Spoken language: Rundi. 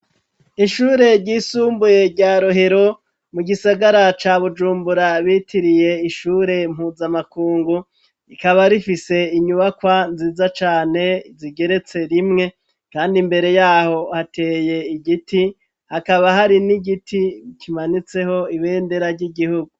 Ishure ry'isumbuye rya rohero ,mu gisagara ca bujumbura, bitiriye ishure mpuzamakungu ,Ikaba rifise inyubakwa nziza cane zigeretse rimwe kandi, mbere yaho hateye igiti hakaba hari n'igiti kimanitseho ibendera ry'igihugu.